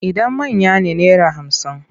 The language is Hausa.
Idan manya ne naira hamsin.